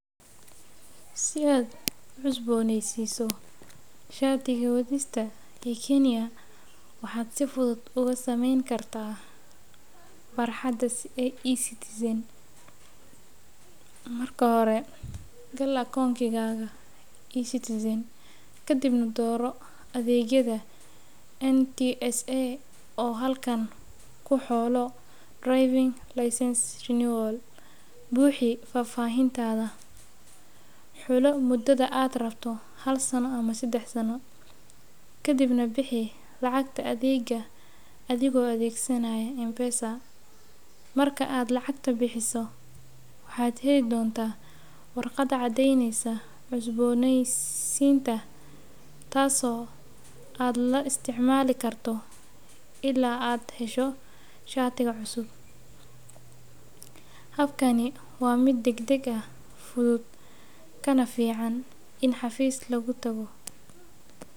Si aad u cusboneysiso shaadiga wadista kenya waxaa si fuduud oga sameyni kartaa farxaada e_citizen marka hore ila doro adegyaada NTSA oo halkan ku xulo driving licence buxi fafahintadha xulo mudadha aad rabto sadax sano kadiib bixi lacagta adhega adhigo adegsanaya mpesa marka aad lacagta bixiso waxaa heli dontaa waraqad shegeysa cusboneysiga tas oo aad la isticmali karto ila aad hesho shatiga cusub, habkani waa miid dag dag ah fuduud kana fican in xafis lagu tago.